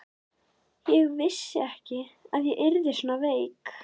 Ég vissi ekki að ég yrði svona veik.